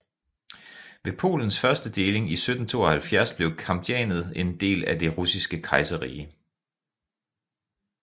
Ved Polens første deling i 1772 blev Kamjanets en del af Det Russiske Kejserrige